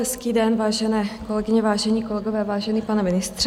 Hezký den, vážené kolegyně, vážení kolegové, vážený pane ministře.